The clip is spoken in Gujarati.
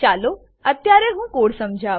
ચાલો અત્યારે હું કોડ સમજાવું